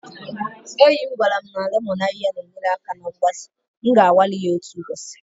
Enyi m gwara m lemon ahịhịa na-enyere aka na mgbaze, m ga-anwale ya otu ụbọchị